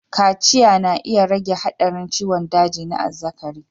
Kaciya na iya rage haɗarin ciwon daji na azzakari.